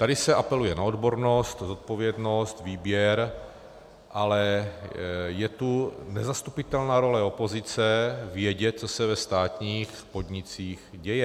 Tady se apeluje na odbornost, zodpovědnost, výběr, ale je tu nezastupitelná role opozice vědět, co se ve státních podnicích děje.